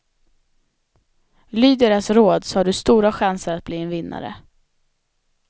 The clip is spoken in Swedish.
Lyd deras råd så har du stora chanser att bli en vinnare.